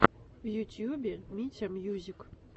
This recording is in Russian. в ютьюбе митя мьюзик